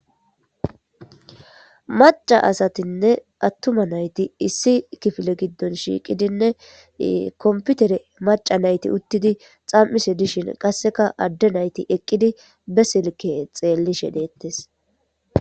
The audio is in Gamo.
maca asatinne attuma nayti issi kifile giddon shiiqidinne komputere maca nayti uttidi xam7ise dishin qasseka adde nayti eqqidi besilke xeellishe deettes